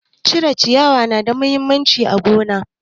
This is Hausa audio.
Cire ciyawa ya na da mahimmanci ga manoma